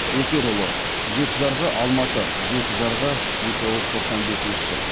өсерұлы жеті жарғы алматы жеті жарғы мың тоғыз жүз тоқсан бесінші жыл